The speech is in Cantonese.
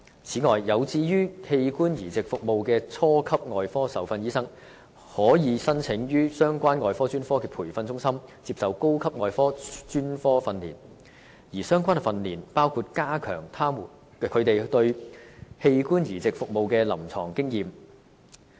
此外，有志於器官移植服務的初級外科受訓醫生，可以申請於相關外科專科的培訓中心接受高級外科專科訓練，而相關訓練包括加強他們對器官移植服務的臨床經驗。